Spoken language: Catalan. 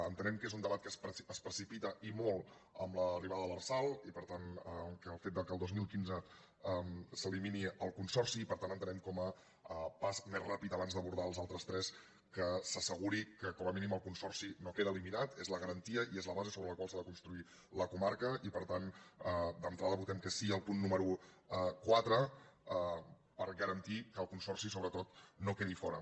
entenem que és un debat que es precipita i molt amb l’arribada de l’lrsal i per tant el fet que el dos mil quinze s’elimini el consorci per tant entenem com a pas més ràpid abans d’abordar els altres tres que s’asseguri que com a mínim el consorci no queda eliminat és la garantia i és la base sobre la qual s’ha de construir la comarca i per tant d’entrada votem que sí al punt número quatre per garantir que el consorci sobretot no quedi fora